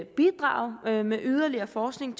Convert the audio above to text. bidrage med yderligere forskning